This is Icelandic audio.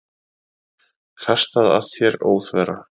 Kastað að þér óþverra.